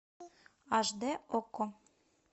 аш дэ окко